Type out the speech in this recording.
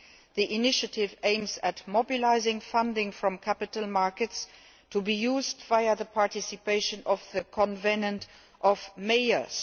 The initiative aims at mobilising funding from capital markets to be used via the participation of the Covenant of Mayors.